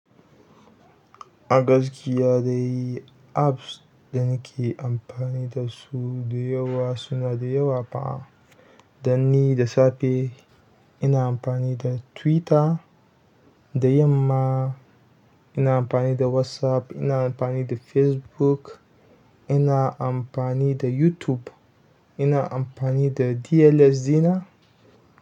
A gaskiya dai apps da nake amfani da su da yawa suna da yawa fa. Dan ni da safe ina amfani da Twitter, da yamma ina amfani da WhatsApp, ina amfani da Facebook, ina amfani da YouTube, ina amfani da DLS ɗina.